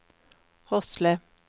Hosle